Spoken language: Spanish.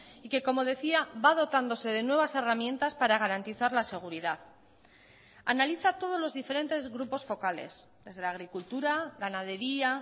y que como decía va dotándose de nuevas herramientas para garantizar la seguridad analiza todos los diferentes grupos focales desde la agricultura ganadería